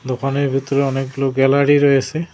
দোকানের ভেতরে অনেকগুলো গ্যালারি রয়েসে।